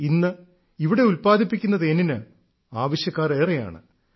ഇന്ന് ഇവിടെ ഉല്പാദിപ്പിക്കുന്ന തേനിന് ആവശ്യക്കാർ ഏറെയാണ്